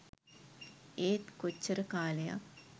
ඒත් කොච්චර කාලයක්